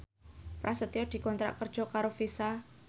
Prasetyo dikontrak kerja karo Visa